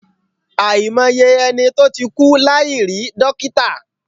Àìmọye ẹni tó ti kú láì rí dọ́kítà.